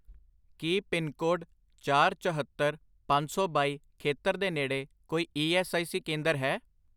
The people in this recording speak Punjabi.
ਕੀ ਪਿੰਨਕੋਡ ਚਾਰ, ਚਹੌਤਰ, ਪੰਜ ਸੌ ਬਾਈ ਖੇਤਰ ਦੇ ਨੇੜੇ ਕੋਈ ਈ ਐੱਸ ਆਈ ਸੀ ਕੇਂਦਰ ਹੈ?